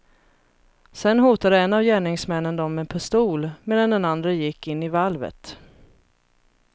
Sedan hotade en av gärningsmännen dem med pistol, medan den andre gick in i valvet.